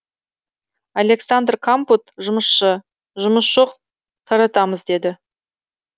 александр кампут жұмысшы жұмыс жоқ таратамыз деді